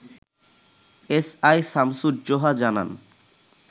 SI Shamsuzzoha জানান